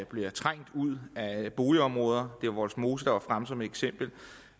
bliver trængt ud af boligområder det var vollsmose der var fremme som eksempel og